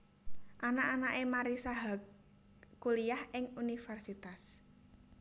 Anak anake Marissa Haque kuliyah ing universitas